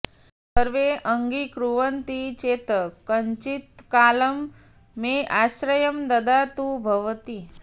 सर्वे अङ्गीकुर्वन्ति चेत् कञ्चित्कालं मे आश्रयं ददातु भवती